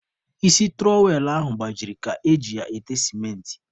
Isi tụrọwel ahụ gbajiri ka e ji ya ete sementị.